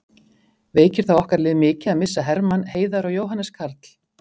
Veikir það okkar lið mikið að missa Hermann, Heiðar og Jóhannes Karl?